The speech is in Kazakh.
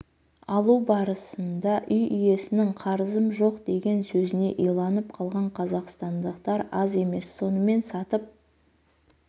алу барысында үй иесінің қарызым жоқ деген сөзіне иланып қалған қазақстандықтар аз емес сонымен сатып